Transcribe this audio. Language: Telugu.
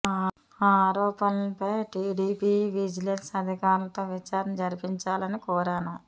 ఆ ఆరోపణలపై టీటీడీ విజిలెన్స్ అధికారులతో విచారణ జరిపించాలని కోరాను